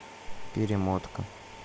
перемотка